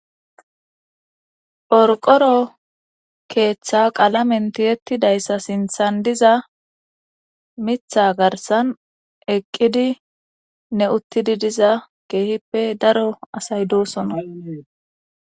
Phorqoro keeththa qalamen tiyettidayssa sinthan diza mitha garsan eqqidi ne uttidi diza keehippe daro asay doosona.